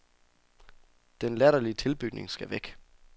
Den latterlige tilbygning skal væk.